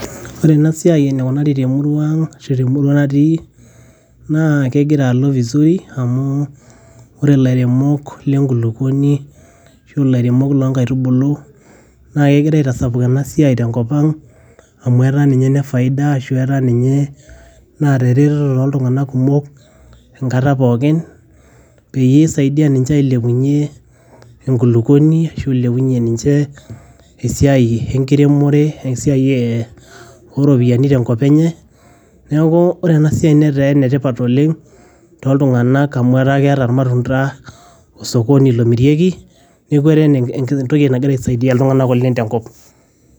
Ore enasiai enikunari temurua ang', ashu temurua natii, naa kegira alo vizuri ,amu ore lairemok lenkulukuoni, ashu lairemok lonkaitubulu, na kegira aitasapuk enasiai tenkop ang',amu etaa ninye ene faida ashu etaa ninye, naata ereteto toltung'anak kumok, enkata pookin, peisaidia ninche ailepunye enkulukuoni, ashu ilepunye ninche, esiai enkiremore, esiai oropiyiani tenkop enye. Neeku ore enasiai netaa enetipat oleng',toltung'anak, amu etaa keeta irmatunda osokoni lomirieki, neku etaa entoki nagira aisaidia iltung'anak oleng' tenkop.